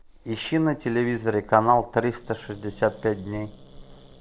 ищи на телевизоре канал триста шестьдесят пять дней